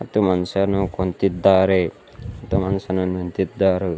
ಮತ್ತು ಮನುಷ್ಯನು ಕುಂತಿದ್ದಾರೆ ಮತ್ತು ಮನುಷ್ಯನು ನಿಂತಿದ್ದಾರೆ.